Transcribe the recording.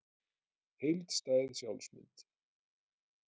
Heildstæð sjálfsmynd.